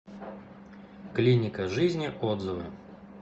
клиника жизни отзывы